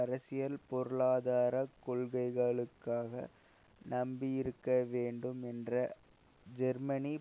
அரசியல் பொருளாதார கொள்கைகளுக்காக நம்பியிருக்க வேண்டும் என்ற ஜெர்மனி